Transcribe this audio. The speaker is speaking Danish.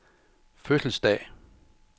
fødselsdag